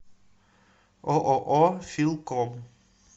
ооо филком